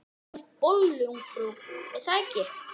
Þú vilt bollu, ungfrú, er það ekki?